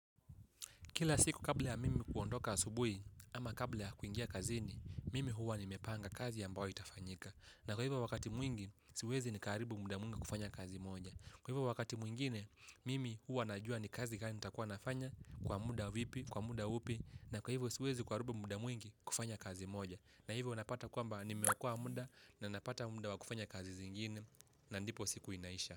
Kila siku kabla ya mimi kuondoka asubuhi ama kabla ya kuingia kazini, mimi huwa nimepanga kazi ambayo itafanyika. Na kwa hivyo wakati mwingi, siwezi nikaharibu muda mwingi kufanya kazi moja. Kwa hivyo wakati mwingine, mimi huwa najua ni kazi gani nitakuwa nafanya kwa muda vipi, kwa muda upi, na kwa hivyo siwezi kuharibu muda mwingi kufanya kazi moja. Na hivo napata kwamba nimeokoa muda na napata muda wa kufanya kazi zingine na ndipo siku inaisha.